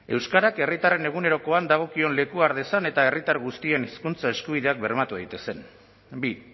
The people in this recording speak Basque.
euskarak herritarren egunerokoan dagokion lekua har dezan eta herritar guztien hizkuntza eskubideak bermatu daitezen bi